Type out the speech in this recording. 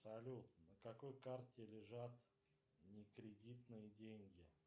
салют на какой карте лежат не кредитные деньги